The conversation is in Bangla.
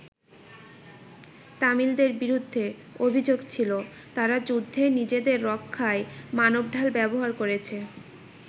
তামিলদের বিরুদ্ধে অভিযোগ ছিল তারা যুদ্ধে নিজেদের রক্ষায় মানবঢাল ব্যবহার করেছে।